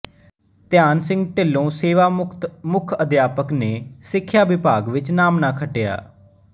ਧਿਆਨ ਸਿੰਘ ਢਿੱਲੋਂ ਸੇਵਾਮੁਕਤ ਮੁੱਖ ਅਧਿਆਪਕ ਨੇ ਸਿੱਖਿਆ ਵਿਭਾਗ ਵਿੱਚ ਨਾਮਣਾ ਖੱਟਿਆ